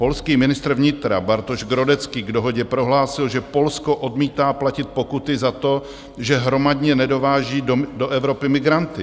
Polský ministr vnitra Bartosz Grodecki k dohodě prohlásil, že Polsko odmítá platit pokuty za to, že hromadně nedováží do Evropy migranty.